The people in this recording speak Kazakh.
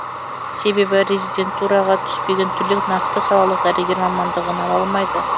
себебі резидентураға түспеген түлек нақты салалық дәрігер мамандығын ала алмайды